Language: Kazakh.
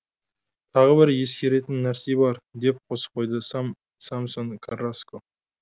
тағы бір ескеретін нәрсе бар деп қосып қойды самсон карраско